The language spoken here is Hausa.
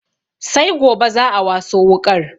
Sai gobe za'a waso wuƙar